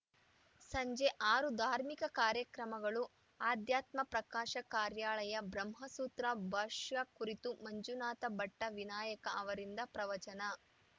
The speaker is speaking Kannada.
ಸಂಜೆ ಆರು ಧಾರ್ಮಿಕ ಕಾರ್ಯಕ್ರಮಗಳು ಅಧ್ಯಾತ್ಮ ಪ್ರಕಾಶ ಕಾರ್ಯಾಲಯ ಬ್ರಹ್ಮಸೂತ್ರ ಭಾಷ್ಯ ಕುರಿತು ಮಂಜುನಾಥ ಭಟ್ಟವಿನಾಯಕ ಅವರಿಂದ ಪ್ರವಚನ